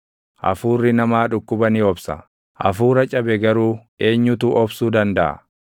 Hafuurri namaa dhukkuba ni obsa; hafuura cabe garuu eenyutu obsuu dandaʼa?